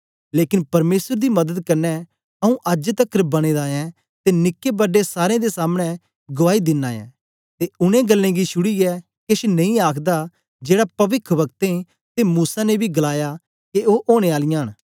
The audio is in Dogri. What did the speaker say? लेकन परमेसर दी मदद कन्ने आंऊँ अज्ज तकर बनें दा ऐं ते निके बड्डे सारें दे सामने गुआई दिना ऐं ते उनै गल्लें गी छुड़ीयै केछ नेई आखदा जेड़ा पविखवक्तें ते मूसा ने बी गलाया के ओ ओनें आलियां न